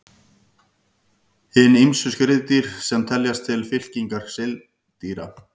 Hin ýmsu skriðdýr sem teljast til fylkingar seildýra.